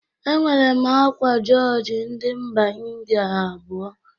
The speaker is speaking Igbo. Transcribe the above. Enwere m akwa jọjị ndị mba Ịndịa abụọ